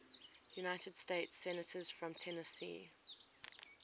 united states senators from tennessee